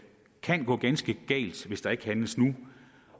kan gå ganske galt hvis der ikke handles nu